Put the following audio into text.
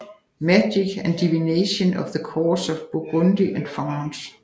Magic and Divination at the Courts of Burgundy and France